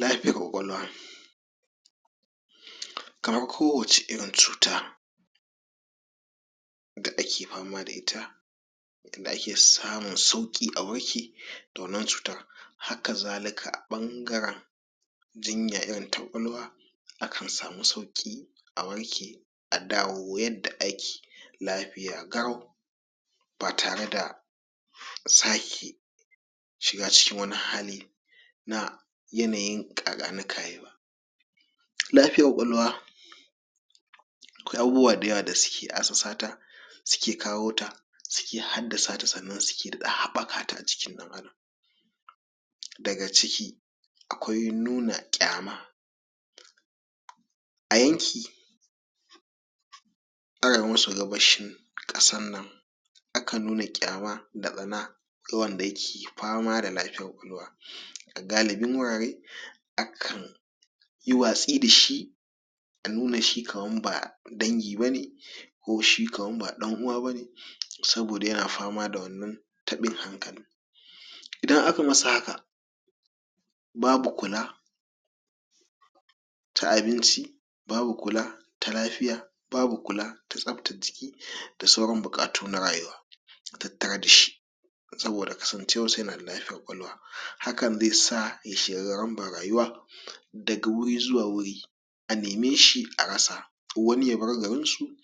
lafiyar ƙwaƙwalwa kamar ko waccw irin cuta da ake fama da ita da ake samun sauƙi a warke daga wannan cutar haka zalika ɓangaren jinya irin ta ƙwaƙwalwa akan samu sauƙi a warke a dawo yadda ake lafayi garau ba tare da sake shiga cikin wani hali na yanayin ƙaƙani kayi ba lafiyar ƙwaƙwalwa aƙwai abubuwa da yawa wanda suke assasata suke kawo ta suke haddasata sannan suke daɗa haɓɓakata a jikin ɗan adam daga ciki akwai nuna ƙyama a yanki arewa maso gabashi ƙasar nan akan nuna kyama da tsana ga wanda yake fama da lafiyar ƙwaƙwalwa a galibin gurare akan yi watsi dashi a nuna shi kaman ba dangi bane ko shi kamar ba ɗan uwa bane saboda yana fama da wannan taɓin hankalin idan aka masa haka babu kula ta abinci babu kula ta lafiya babu kula ta tsaftar jiki da sauran buƙatu na rayuwa tattare dashi saboda kasncewar sa yana da lafiyar ƙwaƙwalwa hakan zesa ya shiga gararambar rayuwa daga guri zuwa guri a neme shi a rasa wani yabar garin su ya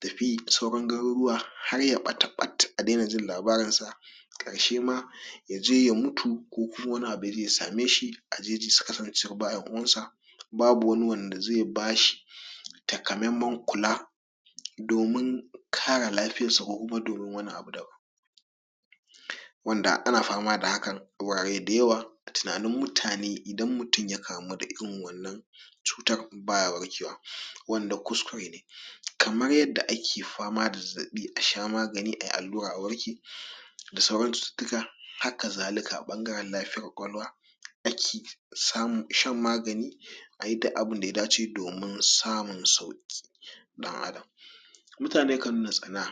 tafi sauran garuruwa harya ɓata ɓat a daina jin labarinsa ƙarshe ma yaje ya mutu ko kuma wani abu yaje ya same shi ajeji saboda kasan cewa ba ƴan uwansa babu wani wanda ze bashi taka meman kula domin kare lafiyar sa ko kuma domin wani abu daban wanda ana fama da hakan a gurare da yawa a tinanin mutane idan mutum ya kamu da irin wannan cutar baya warkewa wanda kuskure ne kamar yadda ake fama da zazzaɓi a sha magani ayi allura a warke da sauran cututtuka haka zalika ɓangaren lafiyar ƙwaƙwalwa ake samun shan magani ayi duk abun daya dace domin samun sauƙi ɗan adam mutane kan nuna tsana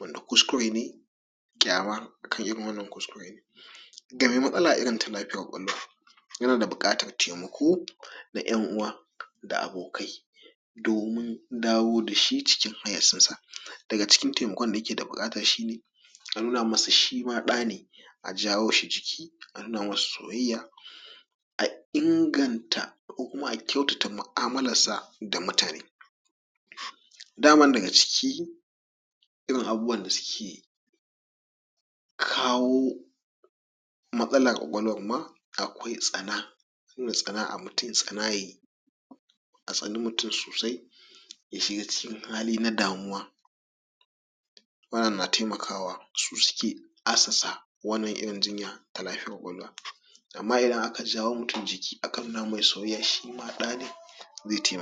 wanda kuskure ne ƙyamar kai irin wannan kuskure ne ga me matsala irin ta lafiyar ƙwaƙwalwa yana da buƙatar taimako na ƴan uwa da abokai domin dawo dashi cikin hayyacin sa daga cikin taimakon da yake da buƙata shine a nuna masa shima ɗane a jawo shi jiki a nuna masa soyayya a ingan ta ko kuma a kyautata mu'amular sa da mutane daman daga ciki irin abubuwan dasuke kawo matsalar ƙwaƙwalwar ma akwai tsana nuna tsana a mutum tsanaye a tsani mutum sosai ya shiga cikin hali na damuwa wannan na taimakawa su suke assasa wannan irin jinya ta lafiyar ƙwaƙwalwa amma idan aka jawo mutum jiki aka nuna mai soyayya shima ɗane ze taimaka